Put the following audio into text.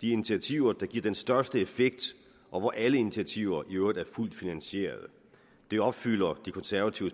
de initiativer der giver den største effekt og hvor alle initiativer i øvrigt er fuldt finansierede det opfylder det konservative